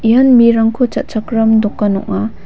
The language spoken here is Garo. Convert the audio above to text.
ian mirangko cha·chakram dokan ong·a.